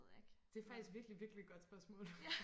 det faktisk virkelig virkelig godt spørgsmål